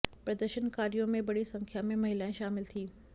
प्रदर्शनकारियों में बड़ी संख्या में महिलाएं शामिल थीं